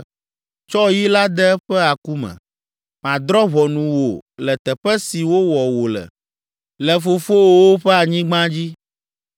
Tsɔ yi la de eƒe aku me. Madrɔ̃ ʋɔnu wò le teƒe si wowɔ wò le, le fofowòwo ƒe anyigba dzi.